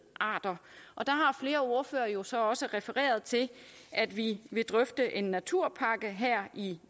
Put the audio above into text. arter der har flere ordførere jo så også refereret til at vi vil drøfte en naturpakke her i